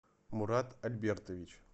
мурат альбертович